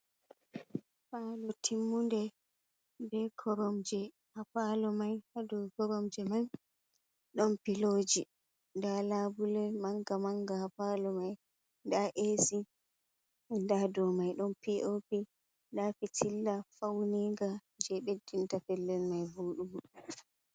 "Palo" timmuɗe be koromje ha palo mai ha dou koromje mai ɗon piloji nda labule manga manga ha palo mai nda esi nda dou mai ɗon pi o pi nda pitilla fauniga je beddinta pellel mai voɗugo.